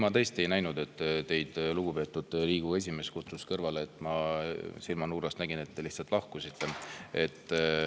Ma tõesti ei näinud, et lugupeetud Riigikogu esimees teid kõrvale kutsus, ma lihtsalt silmanurgast nägin, et te lahkusite.